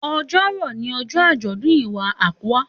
Òjò rọ̀ ní ọjọ́ àjọ̀dún Iwa Akwa.